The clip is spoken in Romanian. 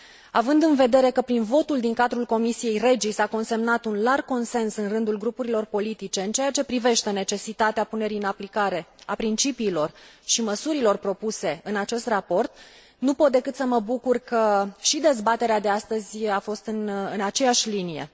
Având în vedere că prin votul din cadrul comisiei REGI s a consemnat un larg consens în rândul grupurilor politice în ceea ce privește necesitatea punerii în aplicare a principiilor și măsurilor propuse în acest raport, nu pot decât să mă bucur că și dezbaterea de astăzi a fost în aceeași linie.